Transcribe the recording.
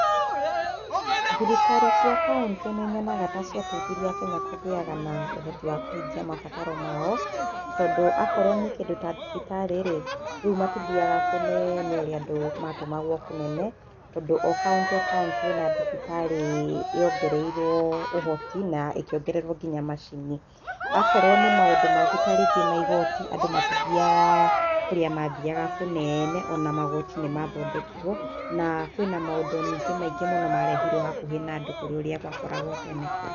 Thirikari cia kauntĩnĩ nyonaga ta ciateithirie akenya kũgĩaga na ũhoti wa kũhingia mabataro mao, tondũ akorwo nĩ kĩndũ ta thibitarĩ rĩu matithiaga kũnene ũria andũ atũmagwo kũnene tondũ o kauntĩ o kauntĩ ĩna thibitarĩ yongereirwo ũhoti na ĩkĩongererwo nginya macini. Akorwo nĩ maũndũ mangĩ ta rĩngĩ maigoti andũ matithiaga kũrĩa mathiaga kũnene ona magoti nĩ mathondekirwo na kwĩna maũndũ maingĩ mũno marehirwo hakuhĩ na andũ kũrĩ ũria gwakoragwo tene.